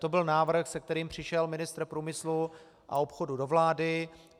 To byl návrh, se kterým přišel ministr průmyslu a obchodu do vlády.